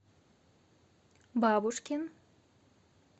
бабушкин